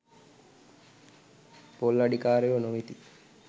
පොල් අඩිකාරයෝ නොවෙති.